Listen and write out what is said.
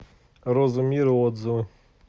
роза мира отзывы